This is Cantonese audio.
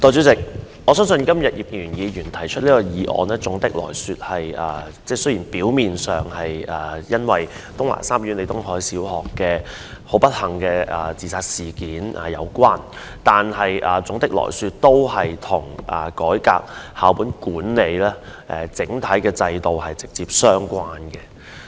代理主席，我相信今天葉建源議員動議這項議案，雖然表面上與東華三院李東海小學老師的不幸自殺事件有關，但總體而言，都是跟校本管理制度改革直接相關。